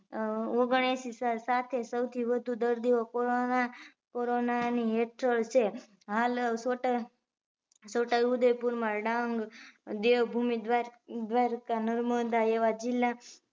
ઓગયાશી સાથે સૌથી વધુ દર્દી corona ની હેઠળ છે હાલ છોટા ઉદયપુર માં ડાગ, દેવ ભુમી દ્વારકા, નર્મદા એવા જિલ્લા